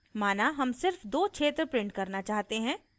माना हम सिर्फ दो क्षेत्र print करना चाहते हैं